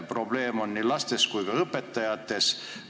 Probleem on nii lastes kui ka õpetajates.